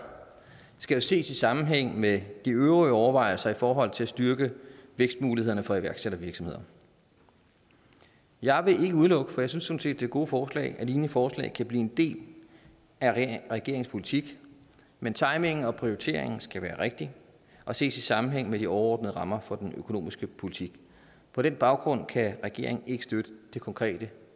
skal jo ses i sammenhæng med de øvrige overvejelser i forhold til at styrke vækstmulighederne for iværksættervirksomheder jeg vil ikke udelukke for jeg synes sådan set det er gode forslag at lignende forslag kan blive en del af regeringens politik men timingen og prioriteringen skal være rigtig og ses i sammenhæng med de overordnede rammer for den økonomiske politik på den baggrund kan regeringen ikke støtte det konkrete